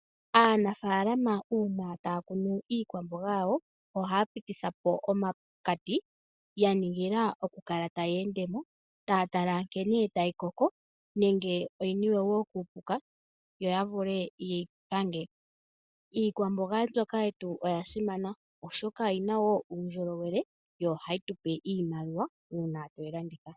Aanafalama una taya kunu iikwamboga yawo, ohaya pitithapo omakati ya ningila oku kala taya endemo taya tala nkene tayi koko, nenge oyi niwe wo kuupuka, yo ya vule ye yi pange. Iikwamboga mbyoka yetu oya simana, oshoka oyina wo uundjolowele, yo ohayi tupe iimaliwa una tweyi landitha .